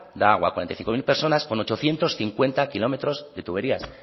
da agua a cuarenta y cinco mil personas con ochocientos cincuenta kilómetros de tuberías